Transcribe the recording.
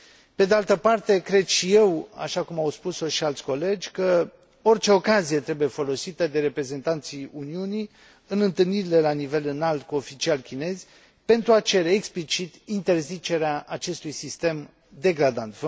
Pe de altă parte, cred și eu, așa cum au spus o și alți colegi, că orice ocazie trebuie folosită de reprezentanții Uniunii în întâlnirile la nivel înalt cu oficiali chinezi pentru a cere explicit interzicerea acestui sistem degradant.